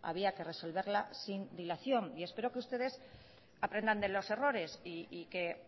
había que resolverla sin dilación y espero que ustedes aprendan de los errores y que